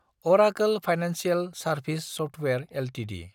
Arekal financial service software Ltd